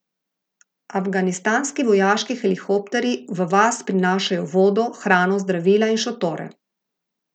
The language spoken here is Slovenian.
Afganistanski vojaški helikopterji v vas prinašajo vodo, hrano, zdravila in šotore.